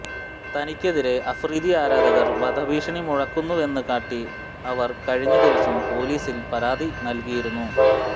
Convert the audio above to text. തനിക്കെതിരേ അഫ്രീദി ആരാധകർ വധഭീഷണി മുഴക്കുന്നുവെന്നു കാട്ടി അവർ കഴിഞ്ഞദിവസം പൊലീസിൽ പരാതി നല്കിയിരുന്നു